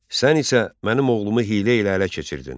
Sən isə mənim oğlumu hiylə ilə ələ keçirdin.